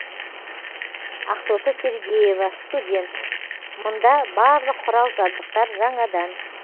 ақтоты сергеева студент мында барлық құрал жабдықтар жаңадан